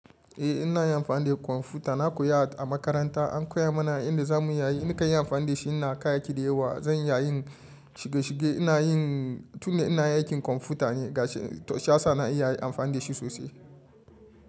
Eh inavyin amfani da kwamfuta, na koya a makaranta an koya mana inda za mu yi. Na kan yi amfani da shi, ina ka yaki da yawa. Zan iya yin shige shige, ina yin tun da ina aikin kwamfuta ne, ga shi-- to shiya sa na iya amfani da shi sosai.